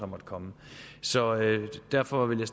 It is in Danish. måtte komme så derfor vil